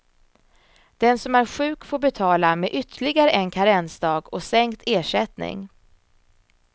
Den som är sjuk får betala med ytterligare en karensdag och sänkt ersättning.